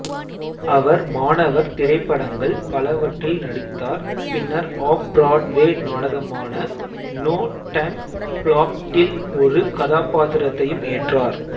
அவர் மாணவர் திரைப்படங்கள் பலவற்றில் நடித்தார் பின்னர் ஆஃப்பிராட்வே நாடகமான நோ டைம் ஃப்ளாட் டில் ஒரு கதாபாத்திரத்தையும் ஏற்றார்